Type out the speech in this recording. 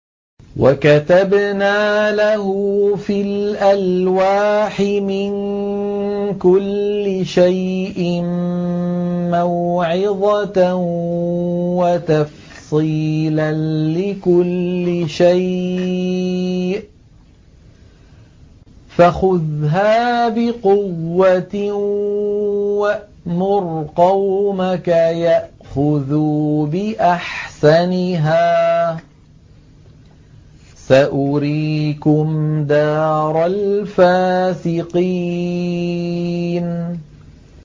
وَكَتَبْنَا لَهُ فِي الْأَلْوَاحِ مِن كُلِّ شَيْءٍ مَّوْعِظَةً وَتَفْصِيلًا لِّكُلِّ شَيْءٍ فَخُذْهَا بِقُوَّةٍ وَأْمُرْ قَوْمَكَ يَأْخُذُوا بِأَحْسَنِهَا ۚ سَأُرِيكُمْ دَارَ الْفَاسِقِينَ